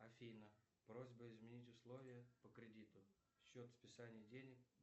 афина просьба изменить условия по кредиту счет списания денег